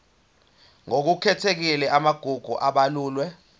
ngokukhethekile amagugu abalulwe